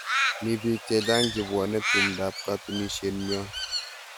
Mi bik chechang' che pwone tumndap katunisyet nyon